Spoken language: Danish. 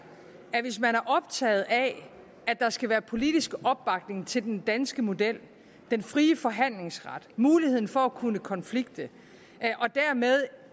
at hvis man er optaget af at der skal være politisk opbakning til den danske model den frie forhandlingsret muligheden for at kunne konflikte og dermed